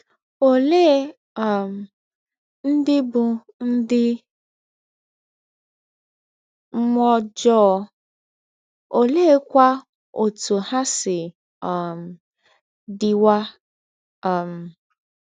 Ọlee um ndị bụ ndị mmụọ ọjọọ, ọleekwa ọtụ ha si um dịwa um?